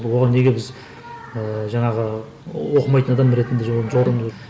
оған неге біз ыыы жаңағы оқымайтын адам ретінде